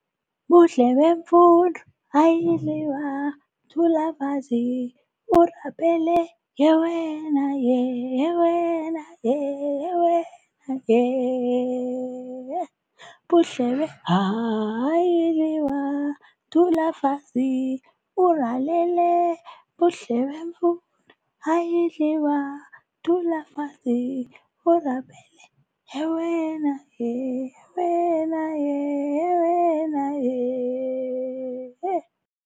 Buhlebemfundo, ayidliwa dula fatshe orapele, yewena ye yewena ye yewena yee eeh, Buhlebe haa, ayidliwa dula fatshe ulalele, Buhlebemfundo, ayidliwa dula fatshe orapele yewena ye yewena ye yewena yee ehe.